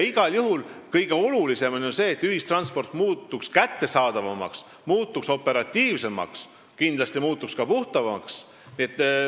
Igal juhul on kõige olulisem see, et ühistransport muutuks kättesaadavamaks, operatiivsemaks ja kindlasti ka puhtamaks.